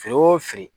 Feere o fili